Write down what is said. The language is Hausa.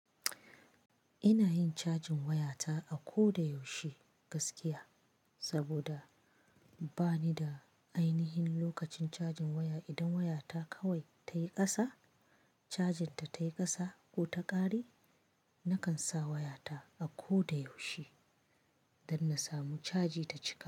Ina yin cajin wayata a ko da yaushe gaskiya. Saboda bani da ainihin lokacin cajin waya idan wayata kawai ta yi ƙasa, cajinta ta yi ƙasa ko ta ƙare, nakan sa wayata a ko da yaushe don na samu caji ta cika.